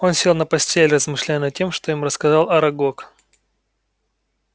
он сел на постель размышляя над тем что им рассказал арагог